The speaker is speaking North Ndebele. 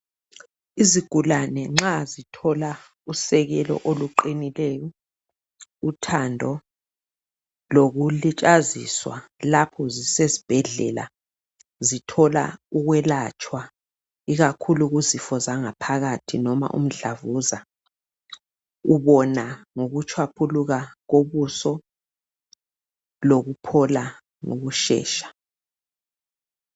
Izigulane nxa zithola usekelo oluqinileyo, uthando , lokulitshaziswa lapho zisezibhedlela zithola ukwelatshwa ikakhulu kuzifo zangaphakathi noma umdlavuza ubona ngokutshwaphuluka ubuso lokuphola ngokushesha.